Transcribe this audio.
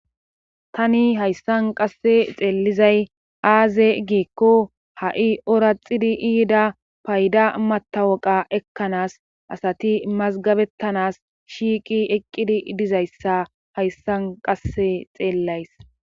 Tani hayssan qasse xeellizay aaze giikko ha'i oraxidi iida payda matawoqa ekkanaas asati mazgabettanas shiiqi eqqidi dizayssa hayssan qasse xeellays.